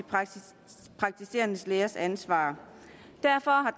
praktiserende lægers ansvar derfor har